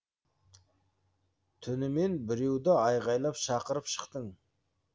түнімен біреуді айғалап шақырып шықтың